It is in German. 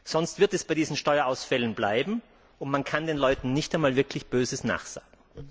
Sonst wird es bei diesen Steuerausfällen bleiben, und man kann den Leuten nicht einmal wirklich Böses nachsagen.